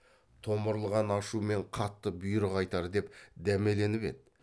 томырылған ашумен қатты бұйрық айтар деп дәмеленіп еді